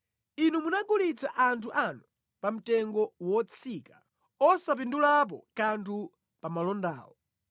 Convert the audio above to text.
Inu munagulitsa anthu anu pa mtengo wotsika, osapindulapo kanthu pa malondawo.